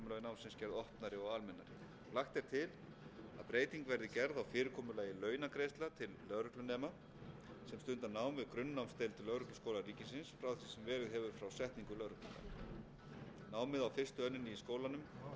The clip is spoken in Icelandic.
á fyrirkomulagi námsins gerð opnari og almennari lagt er til að breyting verði gerð á fyrirkomulagi launagreiðslna til lögreglunema sem stunda nám við grunnnámsdeild lögregluskóla ríkisins frá því sem verið hefur frá setningu lögreglulaga námið á fyrstu önninni í skólanum er